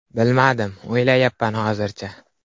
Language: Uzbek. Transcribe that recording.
Bilmadim, o‘ylayapman hozircha.